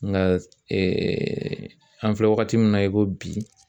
Nka an filɛ wagati min na i ko bi